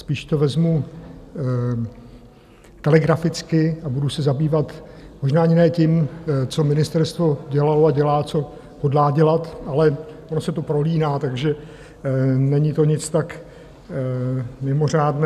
Spíš to vezmu telegraficky a budu se zabývat možná ani ne tím, co ministerstvo dělalo a dělá, co hodlá dělat, ale ono se to prolíná, takže není to nic tak mimořádného.